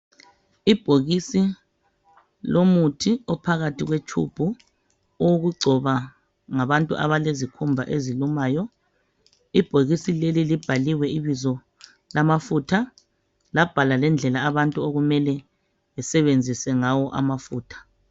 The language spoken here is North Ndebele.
Ibhokisi lomuthi ophakathi kwetshubhu owokugcoba ngabantu abalezikhumba ezilumayo. Ibhokisi leli libhaliwe ibizo lamafutha labhalwa lendlela abantu okumele besebenzise ngawo amafutha.